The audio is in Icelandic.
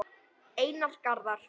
Einar Garðar.